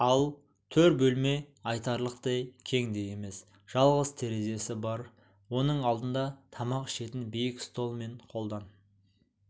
ал төр бөлме айтарлықтай кең де емес жалғыз терезесі бар оның алдында тамақ ішетін биік стол мен қолдан